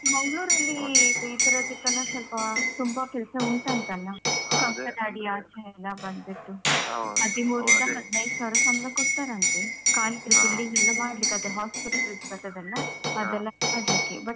ಮಂಗ್ಳೂರಲ್ಲಿ, ಇದು ಈತರದಕ್ಕೆಲ ಸ್ವಲ್ಪಾ ತುಂಬಾ ಕೆಲಸ ಉಂಟಂತಲ್ಲ. ಕಂಕನಾಡಿ ಆಚೆಯೆಲ್ಲಾ ಬಂದ್ಬಿಟ್ಟು. ಹದ್ಮೂರಿಂದ ಹದ್ನೈದು ಸಾವಿರ ಸಂಬಳ ಕೊಡ್ತಾರಂತೆ ಖಾಲಿ billing ಎಲ್ಲ ಮಾಡ್ಲಿಕ್ಕೆ, ಅದು hospital ಬರ್ತದಲ್ಲ ಅದೆಲ್ಲ ಮಾಡ್ಲಿಕ್ಕೆ. but